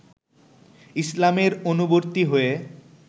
ইসলামের অনুবর্তী হয়ে